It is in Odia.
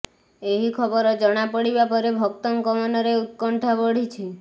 ଏହି ଖବର ଜଣାପଡ଼ିବା ପରେ ଭକ୍ତଙ୍କ ମନରେ ଉତ୍କଣ୍ଠା ବଢ଼ିଛି